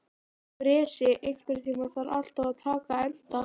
Bresi, einhvern tímann þarf allt að taka enda.